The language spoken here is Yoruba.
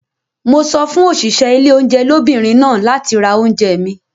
Mo sọ fún òṣìṣẹ́ ilé oúnjẹ lóbìnrin náà láti ra oúnjẹ mi.